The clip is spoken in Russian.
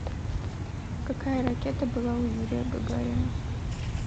какая ракета была у юрия гагарина